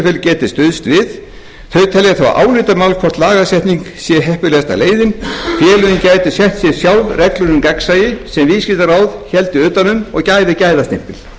geti stuðst við þau telja þó álitamál hvort lagasetning sé heppilegasta leiðin félögin gætu sett sér sjálf reglur um gegnsæi sem viðskiptaráð héldi utan um og gæfi gæðastimpil